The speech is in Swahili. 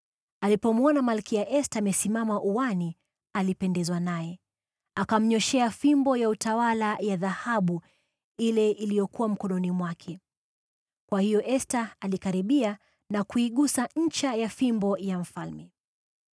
Alipomwona Malkia Esta amesimama uani alipendezwa naye, akamnyooshea fimbo ya utawala ya dhahabu ile iliyokuwa mkononi mwake. Kwa hiyo Esta alikaribia na kuigusa ncha ya fimbo ya mfalme.